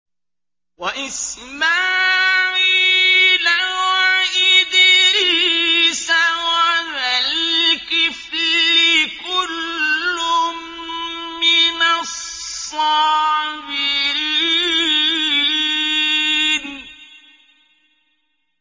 وَإِسْمَاعِيلَ وَإِدْرِيسَ وَذَا الْكِفْلِ ۖ كُلٌّ مِّنَ الصَّابِرِينَ